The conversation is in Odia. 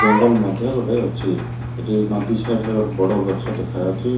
ଜଙ୍ଗଲ ମଧ୍ୟ ଗୋଟେ ଅଛି ଏଠି ନଦୀ ସାଇଡ ରେ ଗୋଟେ ବଡ଼ ଗଛ ଦେଖାଯାଉଚି।